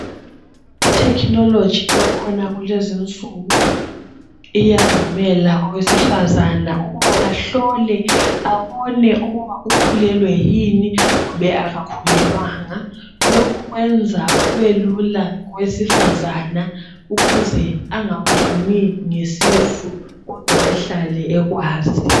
Itechnology ekhona kulezinsuku iyavukele owesifazana ukuba ahlole ababone ukuba ukhulelwe yini kumbe akakhulelwanga lokhu kwenza kubelula kowesifazana ukuze angaboni ngesisu kodwa ehlale ekwazi.